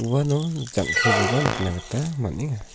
uano jangkekoba nikna gita man·enga.